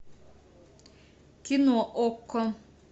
кино окко